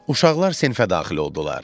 Uşaqlar sinfə daxil oldular.